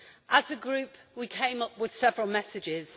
As a Group, we came up with several messages.